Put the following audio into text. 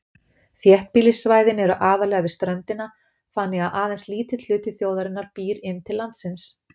Þéttbýlissvæðin eru aðallega við ströndina, þannig að aðeins lítill hluti þjóðarinnar býr inn til landsins.